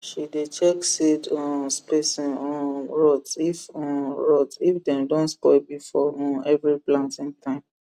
she dey check seed um spacing um rods if um rods if dem don spoil before um every planting time